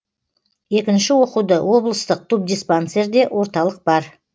екінші оқуды облыстық тубдиспансерде орталық бар